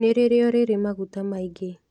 Nĩ rĩrĩo rĩrĩ maguta maingĩ